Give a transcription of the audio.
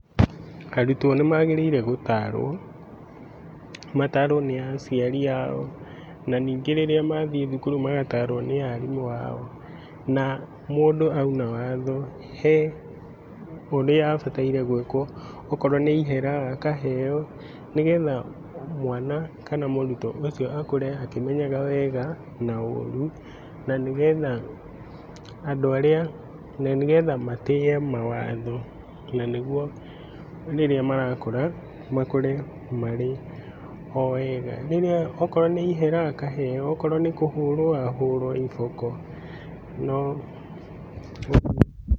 Arũtwo nĩ magĩrĩirwo gũtaarwo, mataarwo nĩ acĩarĩ ao, na nĩngĩ rĩrĩa mathĩi thũkuru magataarwo nĩ aarĩmu ao, na mũndũ aũna watho he ũrĩa abataĩre gũikwo. Okorwo nĩ ĩhera, akaheo nĩgetha mwana kana mũrutwo ũcĩo akũre akĩmenyaga wega na ũrũ, na nĩgetha andũ arĩa, na nĩgetha matĩe mawatho na nĩgũo rĩrĩa marakũra, makũre marĩ o wega. Rĩrĩa, okorwo nĩ ĩhera akaheo, okorwo nĩ kũhũrwo ahũrwo ĩboko.